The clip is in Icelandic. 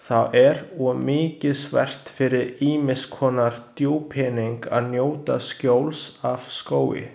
Þá er og mikilsvert fyrir ýmiss konar búpening að njóta skjóls af skógi.